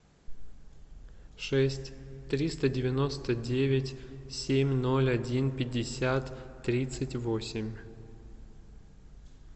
шесть триста девяносто девять семь ноль один пятьдесят тридцать восемь